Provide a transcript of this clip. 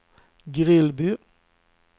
Grillby